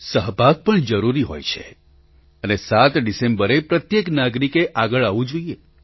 સહભાગ પણ જરૂરી હોય છે અને ૭ ડિસેમ્બરે પ્રત્યેક નાગરિકે આગળ આવવું જોઈએ